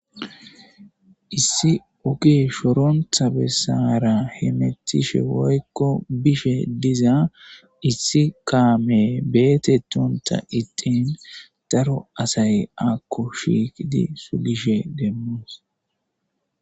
Issi oge shoronta besara hemutishe woykon bishe diza issi kame betetonta ixin daro asay akko shiqidi sugishen demos